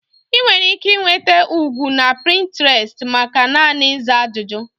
Ị nwere ike nweta ụgwọ na Pinterest maka naanị ịza ajụjụ.